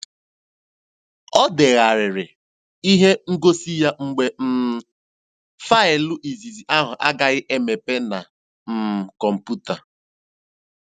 Ọ degharịrị ihe ngosi ya mgbe um faịlụ izizi ahụ agaghị emepe na um kọmpụta.